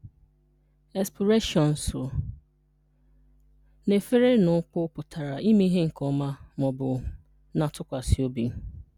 Espureshonusu: Na-e fere na ụkwụ pụtara ime ihe nke ọma ma ọ bụ na-atụkwasị obi.